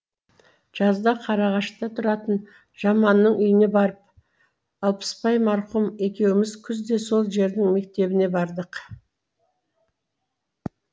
жазда қарағашта тұратын жаманның үйіне барып алпысбай марқұм екеуміз күзде сол жердің мектебіне бардық